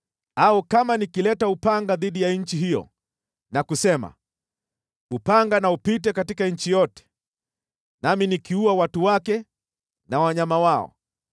“Au kama nikileta upanga dhidi ya nchi hiyo na kusema, ‘Upanga na upite katika nchi yote,’ nami nikiua watu wake na wanyama wao,